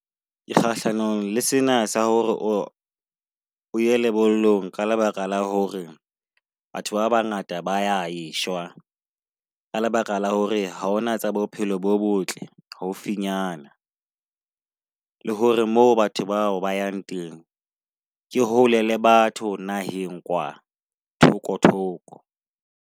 Ke kgahlanong le sena sa hore o o ye lebollong ka lebaka la hore batho ba bangata ba ya e shwa. Ka lebaka la hore ha hona tsa bophelo bo botle haufinyana le hore moo batho bao ba yang teng ke hole le batho naheng, kwa thoko thoko.